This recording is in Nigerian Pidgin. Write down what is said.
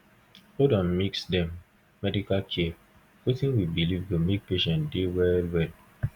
hold on mix dem medical care and wetin we believe go make patients dey well well